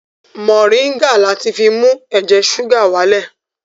Mọ̀ríńgà láti fi mú ẹ̀jẹ̀ ṣúgà wá lẹ̀